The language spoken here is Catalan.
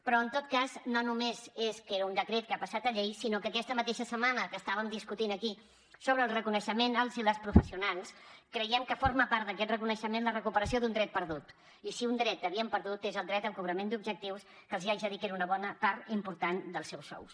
però en tot cas no només és que era un decret que ha passat a llei sinó que aquesta mateixa setmana que estàvem discutint aquí sobre el reconeixement als i les professionals creiem que forma part d’aquest reconeixement la recuperació d’un dret perdut i si un dret havien perdut és el dret al cobrament d’objectius que els haig de dir que era una bona part important dels seus sous